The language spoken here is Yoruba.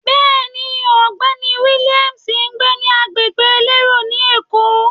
Bẹ́ẹ̀ni, ọ̀gbẹ́ni Williams ń gbé ní agbègbè elérò ni Èkó.